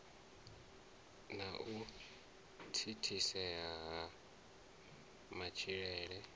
na u thithisea ha matshilo